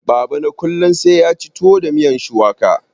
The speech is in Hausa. Baba na kullun sai yaci tuwo da miyan shuwaka.